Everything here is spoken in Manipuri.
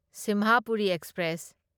ꯁꯤꯝꯍꯄꯨꯔꯤ ꯑꯦꯛꯁꯄ꯭ꯔꯦꯁ